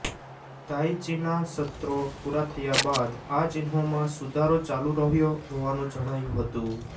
તાઈ ચીના સત્રો પૂરા થયા બાદ આ ચિહ્નોમાં સુધારો ચાલુ રહ્યો હોવાનું જણાયું હતું